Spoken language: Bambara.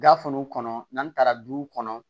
Gafe ninnu kɔnɔ n'an taara duw kɔnɔ